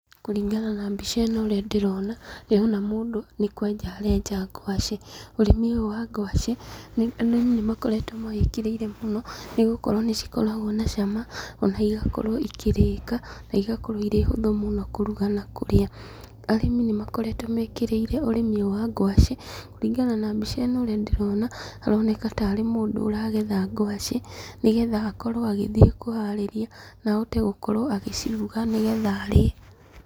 Kũringana na mbica ĩno ũrĩa ndĩrona, ndirona mũndũ nĩ kwenja arenja ngwacĩ. Ũrĩmi ũyũ wa ngwacĩ, arĩmi nĩmakoretwo mawĩkĩrĩire mũno, nĩgũkorwo nĩcikoragwo na cama, ona igakorwo ikĩrĩka, na igakorwo irĩ hũthũ mũno kũruga na kũrĩa. Arĩmi nĩmakoretwo mekĩrĩire ũrĩmi ũyũ wa ngwacĩ, na mbica ĩno ũrĩa ndĩrona, aroneka tarĩ mũndũ ũragetha ngwacĩ, nĩgetha akorwo agĩthiĩ kũharĩria na ahote gũkorwo agĩciruga nĩgetha arĩe.